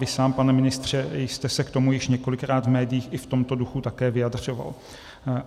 Vy sám, pane ministře, jste se k tomu již několikrát v médiích i v tomto duchu také vyjadřoval.